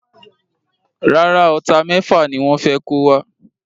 Rárá, Ọta méfà ni wọ́n fé kó wa